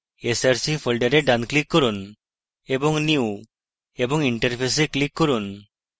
src folder ডান click করুন এবং new> interface এ click করুন